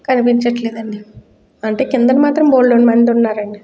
కనిపించట్లేదు అండి కిందన మాత్రం బొల్లేడు మంది ఉన్నారు అండి.